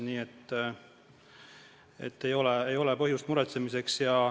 Nii et ei ole põhjust muretsemiseks.